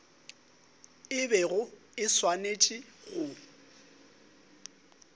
e bego e swanetše go